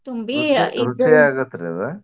ರುಚಿ ರುಚಿ ಆಗುತ್ರಿ ಅದ್?